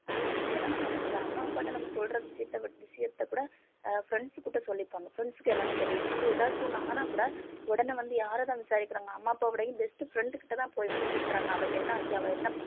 அதே மாதிரி என்னமோ அம்மா அப்பாட்ட நம்ம சொல்ற விஷயத்தை வி~ விஷயத்தை கூட அஹ் friends கிட்ட சொல்லிப்பாங்க friends க்கு எல்லாமே தெரியும் இப்ப வந்து ஏதாச்சு ஒண்ணு ஆனாக்கூட உடனே வந்து யாரைதான் விசாரிக்கிறாங்க அம்மா அப்பாவ விடவும் best friend கிட்டதான் போய் வந்து கூப்பிடுறாங்க அவளுக்கு என்ன ஆச்சு அவ என்ன ப~